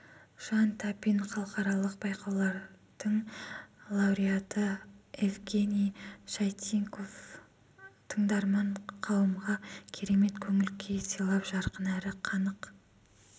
жан тапин халықаралық байқаулардың лауреаты евгений чайников тыңдарман қауымға керемет көңіл-күй сыйлап жарқын әрі қанық